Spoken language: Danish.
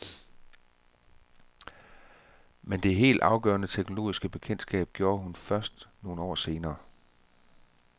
Men det helt afgørende teoretiske bekendtskab gjorde hun først nogle år senere.